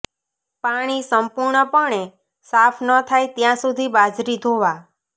પાણી સંપૂર્ણપણે સાફ ન થાય ત્યાં સુધી બાજરી ધોવા